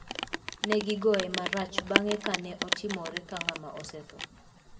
Ne gigoye marach bang`e ka ne otimore ka ng`ama osetho.